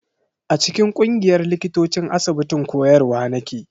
A cikin ƙungiyar likitocin asibitin koyarwa nake.